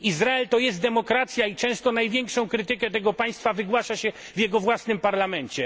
Izrael jest demokracją i często największą krytykę tego państwa wygłasza się w jego własnym parlamencie.